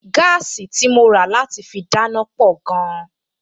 Gáàsì tí mo rà láti fi dáná pọ̀ gan-an